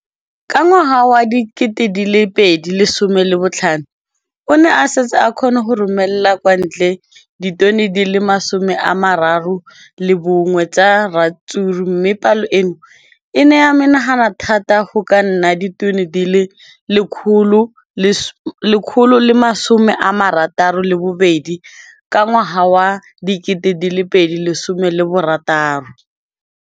Ka ngwaga wa 2015, o ne a setse a kgona go romela kwa ntle ditone di le 31 tsa ratsuru mme palo eno e ne ya menagana thata go ka nna ditone di le 168 ka ngwaga wa 2016.